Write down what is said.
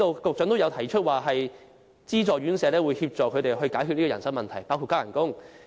局長也曾經指出，資助院舍可協助解決人手問題，包括增加工資。